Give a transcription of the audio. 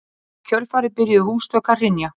Í kjölfarið byrjuðu húsþök að hrynja.